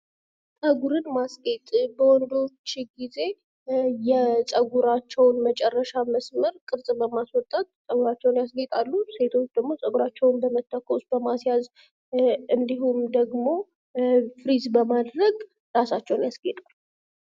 ፀጉርን ማስጌጥ በወንዶች ጊዜ የፀጉራቸውን መጨረሻ መስመር ቅርጽ በማስወጣት ፀጉራቸውን ያስጌጣሉ ሴቶች ደግሞ ፀጉራቸውን በመተኮስ፥ በማስያዝ እንዲሁም ደግሞ ፍሪዝ በማድረግ ራሳቸውን ያስጌጣሉ።